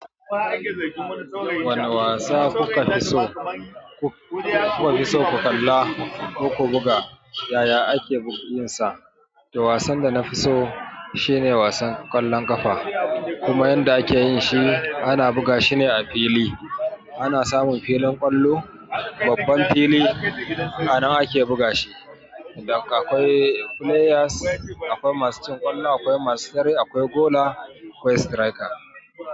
Wane wasa kuka fi so, kuka fi so ku kalla ko ku buga? Ya ya ake yinsa? Da wasan da na fi so shivne wasan ƙwallon ƙafa. Kuma yadda ake yin shi, ana buga shi ne a fili. Ana samun filin ƙwallo, babban fili. A nan ake buga shi. Akwai players, akwai masu cin ƙwallo, akwai masu tare, akwai goaler, akwai striker.